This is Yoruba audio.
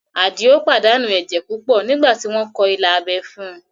Àdìó pàdánù ẹ̀jẹ̀ púpọ̀ nígbà tí wọ́n kọ ilà abẹ́ fún un